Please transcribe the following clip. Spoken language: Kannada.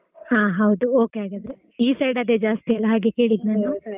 ಹಾ ಹೌದು okay ಹಾಗಿದ್ರೆ ಈ ಕಡೆಯಲ್ಲಿ ಅದೆಲ್ಲಾ ಜಾಸ್ತಿ ಅಲ್ಲಾ ಅದಕ್ಕೆ ಕೇಳಿದ್ದು ನಾನು.